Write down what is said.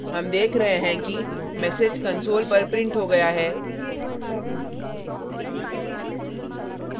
हम देख रहें हैं कि message console पर printed हो गया है